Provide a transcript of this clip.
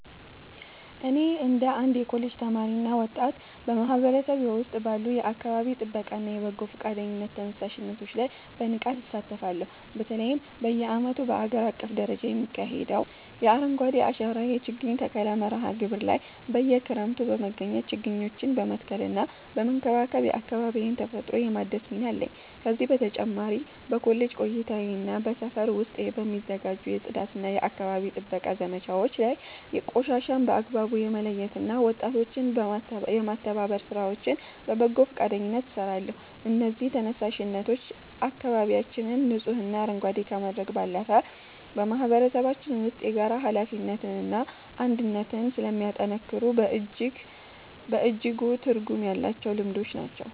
እኔ እንደ አንድ የኮሌጅ ተማሪና ወጣት፣ በማህበረሰቤ ውስጥ ባሉ የአካባቢ ጥበቃና የበጎ ፈቃደኝነት ተነሳሽነቶች ላይ በንቃት እሳተፋለሁ። በተለይም በየዓመቱ በአገር አቀፍ ደረጃ በሚካሄደው የ“አረንጓዴ አሻራ” የችግኝ ተከላ መርሃ ግብር ላይ በየክረምቱ በመገኘት ችግኞችን በመትከልና በመንከባከብ የአካባቢዬን ተፈጥሮ የማደስ ሚና አለኝ። ከዚህ በተጨማሪ በኮሌጅ ቆይታዬና በሰፈር ውስጥ በሚዘጋጁ የጽዳትና የአካባቢ ጥበቃ ዘመቻዎች ላይ ቆሻሻን በአግባቡ የመለየትና ወጣቶችን የማስተባበር ሥራዎችን በበጎ ፈቃደኝነት እሰራለሁ። እነዚህ ተነሳሽነቶች አካባቢያችንን ንጹህና አረንጓዴ ከማድረግ ባለፈ፣ በማህበረሰባችን ውስጥ የጋራ ኃላፊነትንና አንድነትን ስለሚያጠናክሩ በእጅጉ ትርጉም ያላቸው ልምዶች ናቸው።